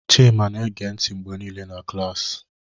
Chima na-ege ntị mgbe niile na klaasị.